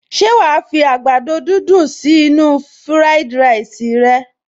Ṣé wàá fi àgbàdo dídùn sí inú-u fúráìdì ráìsì rẹ